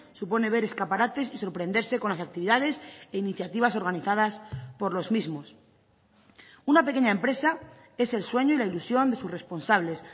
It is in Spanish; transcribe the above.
supone ver escaparates y sorprenderse con las actividades e iniciativas organizadas por los mismos una pequeña empresa es el sueño y la ilusión de sus responsables